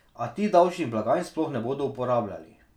A ti davčnih blagajn sploh ne bodo uporabljali.